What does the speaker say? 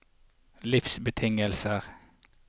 livsbetingelser